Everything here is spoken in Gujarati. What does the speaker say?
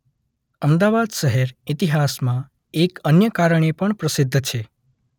અમદાવાદ શહેર ઇતિહાસમા એક અન્ય કારણે પણ પ્રસિદ્ધ છે